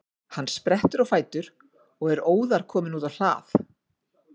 Hann sprettur á fætur og er óðar kominn út á hlað.